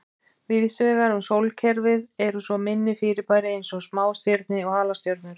Víðsvegar um sólkerfið eru svo minni fyrirbæri eins og smástirni og halastjörnur.